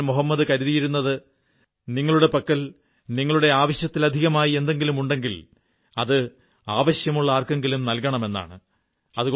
പ്രവാചകൻ മുഹമ്മദ് കരുതിയിരുന്നത് നിങ്ങളുടെ പക്കൽ നിങ്ങളുടെ ആവശ്യത്തിലധികമായി എന്തുണ്ടെങ്കിലും അത് ആവശ്യമുള്ള ആർക്കെങ്കിലും നല്കണം എന്നാണ്